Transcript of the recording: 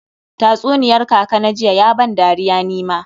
Tatsuniyar kaka na jiya ya ban dariya ni ma.